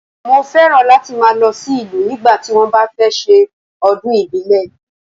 Mọ fẹ́ràn láti ma lọ sí ìlú nígbà tí wọn bá fẹ́ ṣe ọdún ìbílẹ̀.